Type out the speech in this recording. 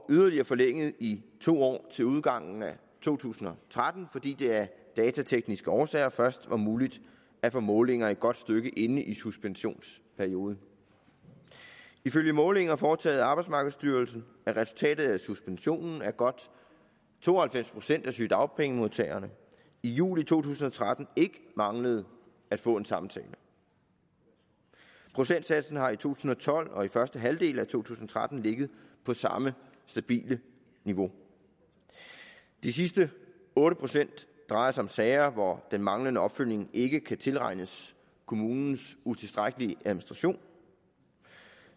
yderligere forlænget i to år til udgangen af to tusind og tretten fordi det af datatekniske årsager først var muligt at få målinger et godt stykke inde i suspensionsperioden ifølge målinger foretaget af arbejdsmarkedsstyrelsen er resultatet af suspensionen at godt to og halvfems procent af sygedagpengemodtagerne i juli to tusind og tretten ikke manglede at få en samtale procentsatsen har i to tusind og tolv og i første halvdel af to tusind og tretten ligget på samme stabile niveau de sidste otte procent drejer sig om sager hvor den manglende opfølgning ikke kan tilregnes kommunens utilstrækkelige administration